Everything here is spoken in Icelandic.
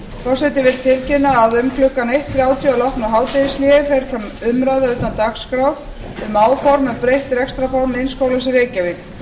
forseti vill tilkynna að um klukkan eitt þrjátíu að loknu hádegishléi fer fram umræða utan dagskrár um áform um breytt rekstrarform iðnskólans í reykjavík